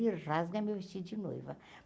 rasga meu vestido de noiva.